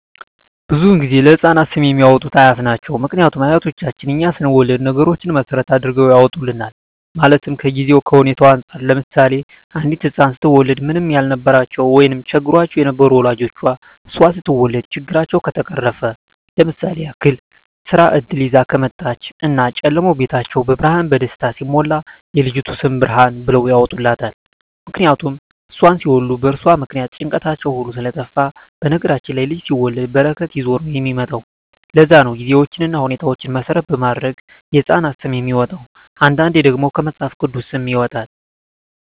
ብዙዉን ጊዜ ለህፃናት ስም የሚያወጡት አያት ናቸዉ ምክንያቱም አያቶቻችን እኛ ስንወለድ ነገሮች መሰረት አድርገዉ ያወጡልናል ማለትም ከጊዜዉ ከሁኔታዉ እንፃር ለምሳሌ አንዲት ህፃን ስትወለድ ምንም ያልነበራቸዉ ወይም ቸግሯቸዉ የነበሩ ወላጆቿ እሷ ስትወለድ ችግራቸዉ ከተፈቀረፈ ለምሳሌ ያክል የስራ እድል ይዛ ከመጣች እና ጨለማዉ ቤታቸዉ በብርሃን በደስታ ሲሞላ የልጅቱ ስም ብርሃን ብለዉ ያወጡላታል ምክንያቱም እሷን ሲወልዱ በእርሷ ምክንያት ጭንቀታቸዉ ሁሉ ስለጠፍ በነገራችን ላይ ልጅ ሲወለድ በረከት ይዞ ነዉ የሚመጣዉ ለዛ ነዉ ጊዜዎችን ሁኔታዎች መሰረት በማድረግ የህፃናት ስም የሚወጣዉ አንዳንዴ ደግሞ ከመፅሀፍ ቅዱስም ይወጣል